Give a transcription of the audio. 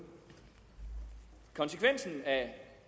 konsekvensen af